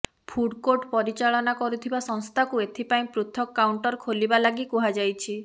food court ପରିଚାଳନା କରୁଥିବା ସଂସ୍ଥାକୁ ଏଥିପାଇଁ ପୃଥକ କାଉଣ୍ଟର ଖୋଲିବା ଲାଗି କୁହାଯାଇଛି